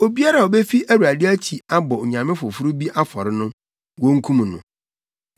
“Obiara a obefi Awurade akyi abɔ onyame foforo bi afɔre no, wonkum no.